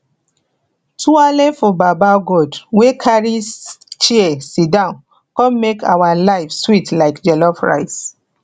twaale for baba god wey carry chair sidon con make our life sweet like jollof rice